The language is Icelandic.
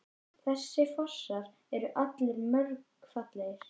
Þessir fossar eru allir mjög fallegir.